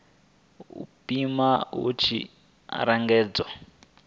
u pima hu tshi angaredzwa